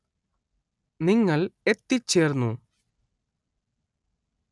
നിങ്ങൾ എത്തിച്ചേർന്നു.